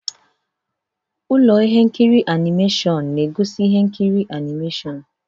Ụlọ ihe nkiri animeshịon na-egosi ihe nkiri animeshịon.